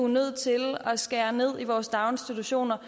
nødt til at skære ned i vores daginstitutioner